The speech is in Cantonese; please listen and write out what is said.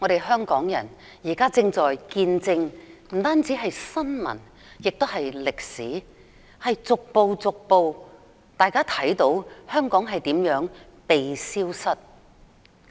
香港人現正不單見證新聞，也見證歷史，見證香港如何逐步被消失。